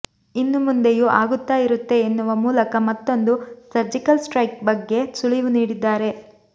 ಇನ್ನು ಮುಂದೆಯೂ ಆಗುತ್ತಾ ಇರುತ್ತೆ ಎನ್ನುವ ಮೂಲಕ ಮತ್ತೊಂದು ಸರ್ಜಿಕಲ್ ಸ್ಟ್ರೈಕ್ ಬಗ್ಗೆ ಸುಳಿವು ನೀಡಿದ್ದಾರೆ